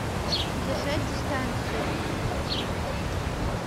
держать дистанцию